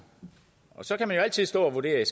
så kan man jo altid stå og vurdere